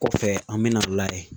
Kɔfɛ an bɛ na lajɛ